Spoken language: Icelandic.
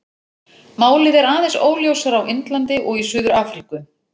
Málið er aðeins óljósara á Indlandi og í Suður-Afríku.